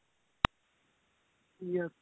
yes